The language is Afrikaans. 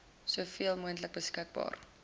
soveel moontlik beskikbare